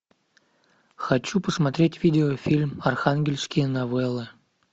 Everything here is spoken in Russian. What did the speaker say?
хочу посмотреть видеофильм архангельские новеллы